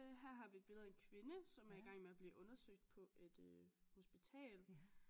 Her har vi et billede af en kvinde som er igang med at blive undersøgt på et øh hospital